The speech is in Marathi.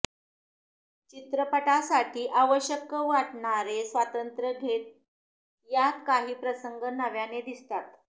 चित्रपटासाठी आवश्यक वाटणारं स्वातंत्र्य घेत यात काही प्रसंग नव्याने दिसतात